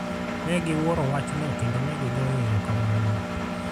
Ne giwuoro wachno kendo ne gigoyo erokamano.